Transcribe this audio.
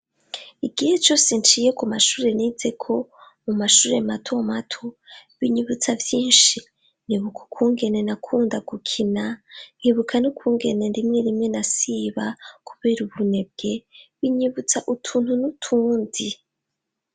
Igihe cose nciye ku mashure nizeko, mu mashure mato mato binyibutsa vyinshi, nibuka ukungene nakunda gukina, nkibuka nukungene rimwe rimwe nasiba kubera ubunebwe, binyibutsa utuntu n'utundi.